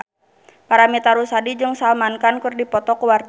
Paramitha Rusady jeung Salman Khan keur dipoto ku wartawan